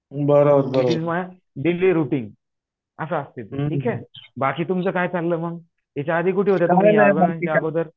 it is my daily routine असं असतंय ते ठीक आहे बाकी तुमचं काय चाललं मग त्याच्याआधी कुठे होता अगोदर